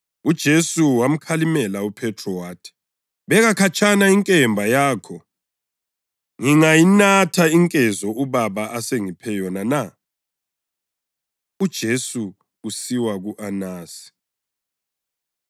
UJesu wamkhalimela uPhethro wathi, “Beka khatshana inkemba yakho! Ngingayinathi inkezo uBaba asengiphe yona na?” UJesu Usiwa Ku-Anasi